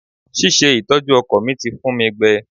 Ṣíṣe ìtọ́jú ọkọ̀ mi ti fun mi gbẹ.